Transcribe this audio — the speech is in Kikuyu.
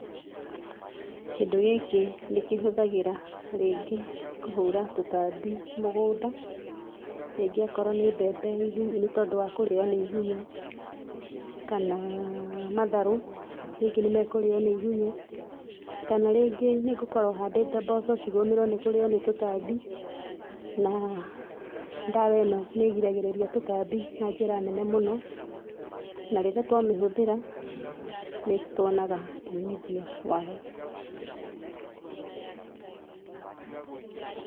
Kĩndũ gĩkĩ ndĩkĩhũthagĩra rĩngĩ kũhũra tũtambi mũgũnda, ningĩ akorwo nĩ mbembe nĩ tondũ wa kũrĩo nĩ igunyũ, kana matharũ rĩngĩ nĩ mekũrĩo nĩ igunyũ, kana rĩngĩ nĩ ngũkorwo handĩte mboco cigũmĩrwo nĩ kũrĩo nĩ tũtambi na ndawa ĩno nĩ ĩgiragĩrĩria tũtambi na njĩra nene mũno, na rĩrĩa twamĩhũthĩra, nĩ twonaga umithio wayo.